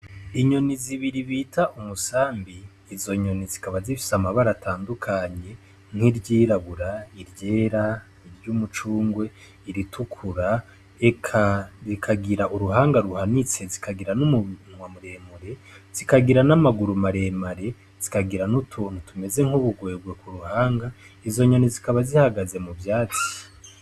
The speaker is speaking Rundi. Inyoni zibiri bita umusambi izonyoni zikaba zifise amabara atandukanye nk'iryirabura iryera iry' umucungwe iritukura eka rikagira uruhanga ruhanitse zikagira n'umunwa muremure zikagira n'amaguru maremare zikagira n'utuntu tumeze nk'ubugwewe wo ku ruhanga, izonyoni zikaba zihagaze mu vyati.